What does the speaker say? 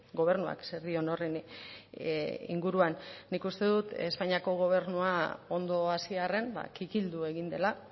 gobernuak zer dion horren inguruan nik uste dut espainiako gobernua ondo hasi arren kikildu egin dela